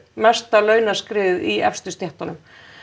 mesta launaskriðið í efstu stéttunum